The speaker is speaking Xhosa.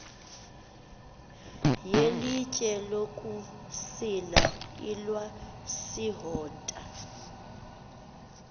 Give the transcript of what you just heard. yelitye lokusila ilwasihota